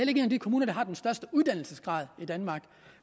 en af de kommuner der har den største uddannelsesgrad i danmark